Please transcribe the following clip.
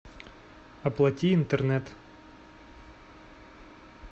оплати интернет